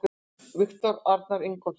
Viktor Arnar Ingólfsson